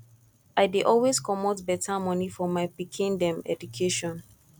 i dey always comot beta moni for my pikin dem education